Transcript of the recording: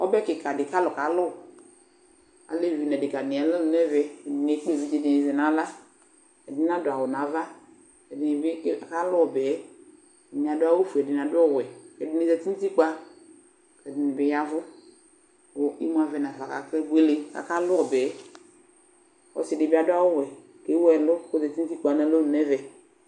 Ɔbɛ kɩka dɩ kʋ alʋ kalʋ Alʋ ɛdɩnɩ nʋ adekǝ nɩ ya nʋ alɔnʋ nʋ ɛvɛ Ɛdɩnɩ ekple evidze dɩnɩ yɔzɛ nʋ aɣla Ɛdɩnɩ nadʋ awʋ nʋ ava Ɛdɩnɩ bɩ kalʋ bɩ Ɛdɩnɩ adʋ awʋfue, ɛdɩnɩ adʋ ɔwɛ Ɛdɩnɩ zǝtɩ nʋ utikpǝ, ɛdɩnɩ yavu kʋ ɩmʋ avɛnafa Akebʋele, akalʋ bɩ Ɔsɩdɩ bɩ adʋ awʋɛkʋ ewʋ ɛlʋ ozǝtɩ nʋ utikpǝ nʋ alɔnʋ nʋ ɛvɛ